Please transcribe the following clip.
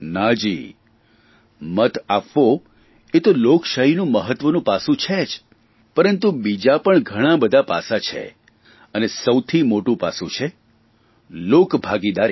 ના જી મત આપવો એ તો લોકશાહીનું મહત્વનું પાસું છે જ પરંતુ બીજા પણ ઘણાંબધાં પાસાં છે અને સૌથી મોટું પાસું છે લોકભાગીદારી